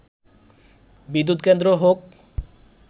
বিদ্যুৎ কেন্দ্র হোক